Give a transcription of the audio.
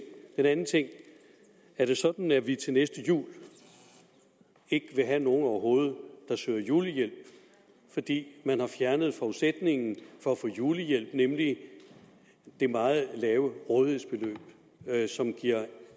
den anden ting er det sådan at vi til næste jul ikke vil have nogen overhovedet der søger julehjælp fordi man har fjernet forudsætningen for at få julehjælp nemlig det meget lave rådighedsbeløb som giver